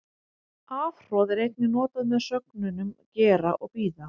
Afhroð er einnig notað með sögnunum gera og bíða.